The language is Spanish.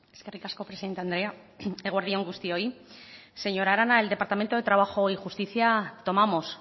eskerrik asko presidente anderea eta eguerdi on guztioi señora arana en el departamento de trabajo y justicia tomamos